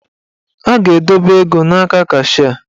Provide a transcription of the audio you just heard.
A ga-edobe ego n'aka kashịa.